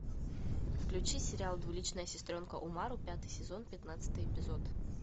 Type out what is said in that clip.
включи сериал двуличная сестренка умару пятый сезон пятнадцатый эпизод